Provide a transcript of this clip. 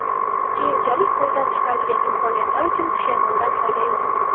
keyinchalik qo‘ldan chiqarilgan imkoniyatlar uchun pushaymondan foyda yo‘q.